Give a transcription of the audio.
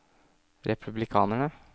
republikanere